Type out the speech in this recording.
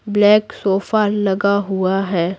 Black sofa लगा हुआ है।